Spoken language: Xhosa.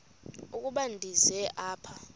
ukuba ndize apha